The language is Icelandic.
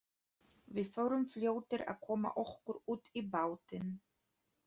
Við vorum fljótir að koma okkur út í bátinn.